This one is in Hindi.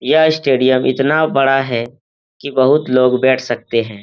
यह स्टेडियम इतना बड़ा है कि बोहोत लोग बैठ सकते हैं।